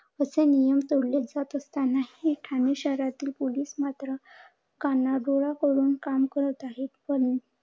असे नियम तोडले जात असताना हि ठाणे शहरातील पोलीस मात्र कानाडोळा करून काम करत आहेत. पण